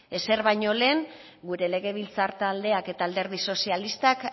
ezer baino lehen gure legebiltzar taldeak eta alderdi sozialistak